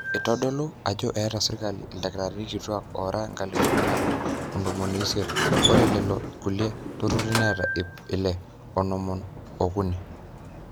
eitodolu ajo eeta sirkali ildkitarini kituak oora enkalifu nabo o ntomoni isiet ore lelo kulie turrurri neeta ip ile o onom ookuni